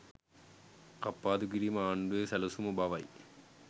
කප්පාදු කිරීම ආණ්ඩුවේ සැලසුම බවයි